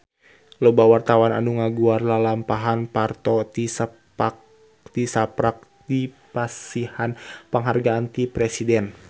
Loba wartawan anu ngaguar lalampahan Parto tisaprak dipasihan panghargaan ti Presiden